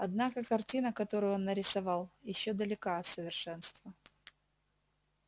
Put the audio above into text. однако картина которую он нарисовал ещё далека от совершенства